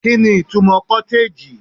kini itumo cottage